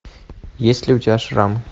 есть ли у тебя шрам